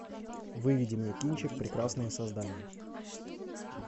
выведи мне кинчик прекрасные создания